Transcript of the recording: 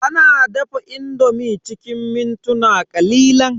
Ana dafa indomi cikin mintuna ƙalilan.